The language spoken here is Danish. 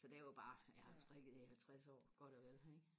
så det er jo bare jeg har jo strikket i halvtres år godt og vel ikke